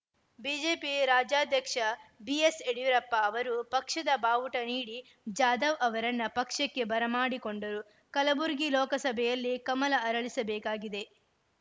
BJP ರಾಜ್ಯಾಧ್ಯಕ್ಷ ಬಿಎಸ್‌ಯಡಿಯೂರಪ್ಪ ಅವರು ಪಕ್ಷದ ಬಾವುಟ ನೀಡಿ ಜಾಧವ್‌ ಅವರನ್ನ ಪಕ್ಷಕ್ಕೆ ಬರಮಾಡಿಕೊಂಡರು ಕಲಬುರಗಿ ಲೋಕಸಭೆಯಲ್ಲಿ ಕಮಲ ಅರಳಿಸಬೇಕಾಗಿದೆ